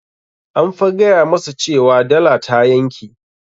An fa gaya masa cewa dala ta yanke.